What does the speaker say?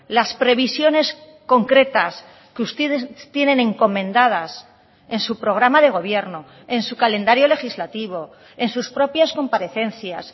las previsiones concretas que ustedes tienen encomendadas en su programa de gobierno en su calendario legislativo en sus propias comparecencias